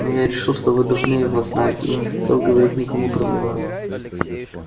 но я решил что вы должны его знать и не хотел говорить никому кроме вас